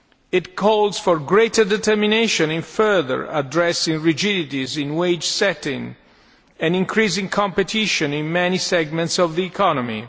It calls for greater determination in further addressing rigidities in wage setting and increasing competition in many segments of the economy.